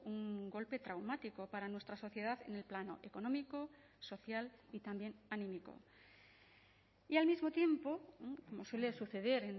un golpe traumático para nuestra sociedad en el plano económico social y también anímico y al mismo tiempo como suele suceder